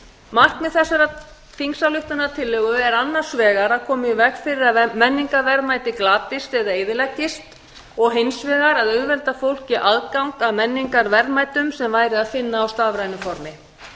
markmið þessarar þingsályktunartillögu er annars vegar að koma í veg fyrir að menningarverðmæti glatist eða eyðileggist og hins vegar að auðvelda fólki aðgang að menningarverðmætum sem væri að finna á stafrænu færni